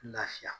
Lafiya